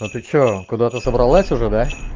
а ты что куда-то собралась уже да